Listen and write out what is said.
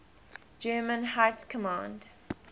german high command